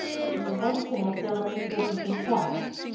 Í heild sinni hljóðaði spurningin svona: